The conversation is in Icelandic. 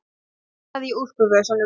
Ég leitaði í úlpuvösunum.